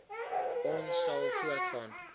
ons sal voortgaan